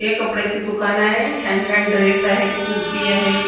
हे कपड्याचं दुकान आहे छान छान ड्रेस आहेत कुर्ती आहे .